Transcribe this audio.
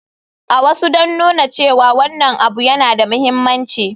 A wasu don nuna cewa wannan abu yana da mahimmanci.